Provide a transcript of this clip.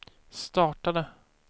startade